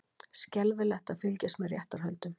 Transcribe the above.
Skelfilegt að fylgjast með réttarhöldum